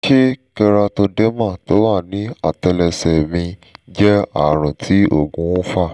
ṣé keratoderma tó wà ní àtẹlẹsẹ̀ mí jẹ́ ààrùn tí òògùn fà?